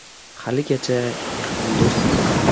Haligacha yaqin do‘stmiz.